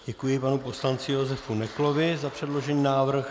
Děkuji panu poslanci Josefu Neklovi za předložený návrh.